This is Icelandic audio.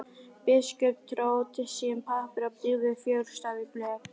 Biskup dró til sín pappír og dýfði fjöðurstaf í blek.